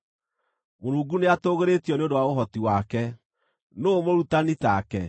“Mũrungu nĩatũgĩrĩtio nĩ ũndũ wa ũhoti wake. Nũũ mũrutani take?